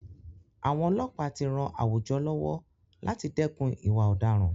Àwọn ọlọ́pàá tí ràn àwùjọ lọ́wọ́ láti dẹ́kun ìwà ọ̀daràn.